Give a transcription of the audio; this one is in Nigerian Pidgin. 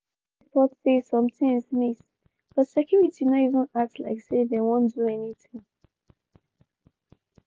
im report say some tins miss but security no even act like say dem wan do anything.